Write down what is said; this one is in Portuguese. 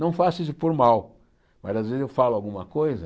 Não faço isso por mal, mas às vezes eu falo alguma coisa